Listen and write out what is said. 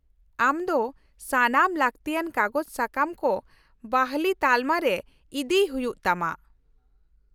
-ᱟᱢ ᱫᱚ ᱥᱟᱱᱟᱢ ᱞᱟᱹᱠᱛᱤᱭᱟᱱ ᱠᱟᱜᱚᱡᱽᱼᱥᱟᱠᱟᱢ ᱠᱚ ᱵᱟᱹᱦᱞᱤ ᱛᱟᱞᱢᱟ ᱨᱮ ᱤᱫᱤᱭ ᱦᱩᱭᱩᱜ ᱛᱟᱢᱟ ᱾